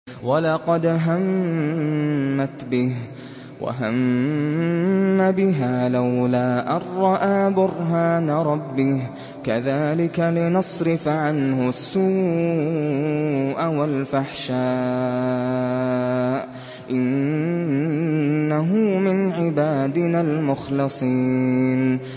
وَلَقَدْ هَمَّتْ بِهِ ۖ وَهَمَّ بِهَا لَوْلَا أَن رَّأَىٰ بُرْهَانَ رَبِّهِ ۚ كَذَٰلِكَ لِنَصْرِفَ عَنْهُ السُّوءَ وَالْفَحْشَاءَ ۚ إِنَّهُ مِنْ عِبَادِنَا الْمُخْلَصِينَ